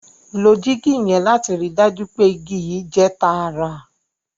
ló jig yen lati ríi dájú pé ìgi yii jẹ tààrà